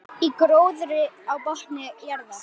Í gróðri á botni jarðar.